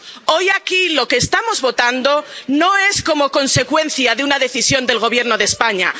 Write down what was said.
Hoy aquí lo que estamos votando no es consecuencia de una decisión del Gobierno de España.